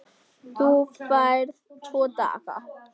Þú færð tvo daga.